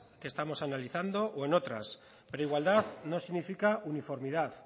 que estamos analizando o en otras pero igualdad no significa uniformidad